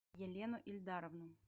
елену ильдаровну